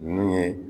Ninnu ye